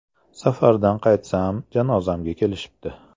“Safardan qaytsam, janozamga kelishibdi”.